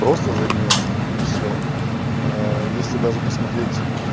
просто загнётся и всё если даже посмотреть